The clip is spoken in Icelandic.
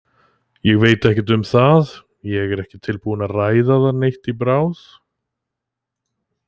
Ég veit ekkert um það, ég er ekki tilbúinn að ræða það neitt í bráð.